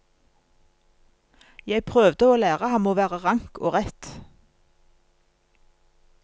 Jeg prøvde å lære ham å være rank og rett.